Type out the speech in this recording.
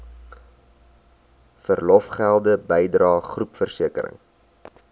verlofgelde bydrae groepversekering